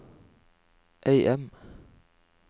AM